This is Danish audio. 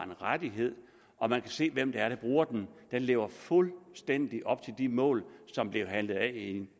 rettighed og man kan se hvem det er der bruger den den lever fuldstændig op til de mål som blev handlet af i